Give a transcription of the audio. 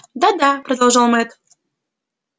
да да продолжал мэтт